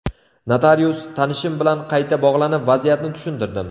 Notarius tanishim bilan qayta bog‘lanib vaziyatni tushuntirdim.